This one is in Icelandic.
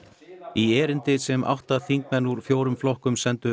í erindi sem átta þingmenn úr fjórum flokkum sendu